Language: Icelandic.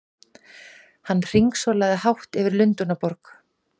Hann hringsólaði hátt yfir Lundúnaborg!